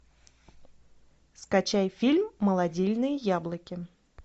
скачай фильм молодильные яблоки